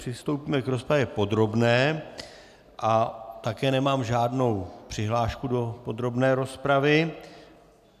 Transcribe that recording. Přistoupíme k rozpravě podrobné a také nemám žádnou přihlášku do podrobné rozpravy.